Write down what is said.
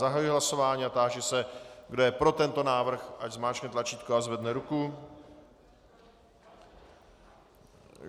Zahajuji hlasování a táži se, kdo je pro tento návrh, ať zmáčkne tlačítko a zvedne ruku.